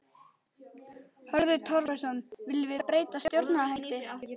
Hörður Torfason: Viljum við breytta stjórnarhætti?